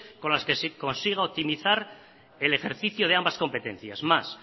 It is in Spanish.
con las que se consiga optimizar el ejercicio de ambas competencias más